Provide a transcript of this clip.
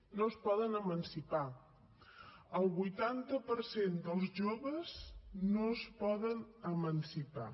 no es poden emancipar el vuitanta per cent dels joves no es poden emancipar